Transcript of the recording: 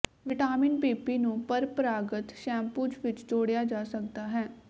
vitamin PP ਨੂੰ ਪ੍ਰੰਪਰਾਗਤ shampoos ਵਿੱਚ ਜੋੜਿਆ ਜਾ ਸਕਦਾ ਹੈ